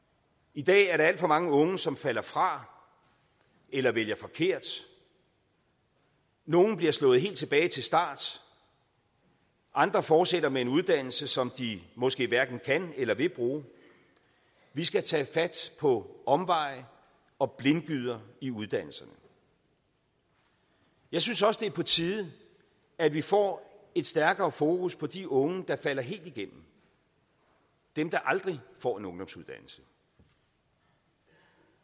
i dag er der alt for mange unge som falder fra eller vælger forkert nogle bliver slået helt tilbage til start andre fortsætter med en uddannelse som de måske hverken kan eller vil bruge vi skal tage fat på omveje og blindgyder i uddannelserne jeg synes også det er på tide at vi får et stærkere fokus på de unge der falder helt igennem dem der aldrig får en ungdomsuddannelse det